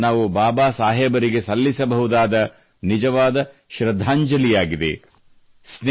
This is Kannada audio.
ಇದೇ ನಾವು ಬಾಬಾ ಸಾಹೇಬರಿಗೆ ಸಲ್ಲಿಸುವ ನಿಜವಾದ ಶ್ರದ್ಧಾಂಜಲಿಯಾಗಿದೆ